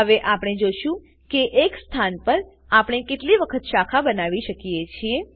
હવે આપણે જોશું કે એક સ્થાન પર આપણે કેટલી વખત શાખા બનાવી શકીએ છીએ